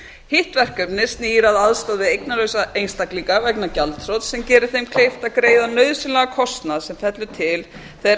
hitt verkefnið snýr að aðstoð við eignalausa einstaklinga vegna gjaldþrots sem geri þeim kleift að greiða nauðsynlegan kostnað sem fellur til þegar